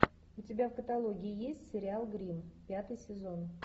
у тебя в каталоге есть сериал гримм пятый сезон